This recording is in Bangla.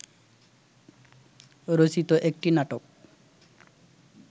রচিত একটি নাটক